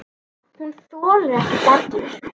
Hún þolir ekki dellur.